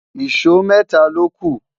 ìsọ mẹta loku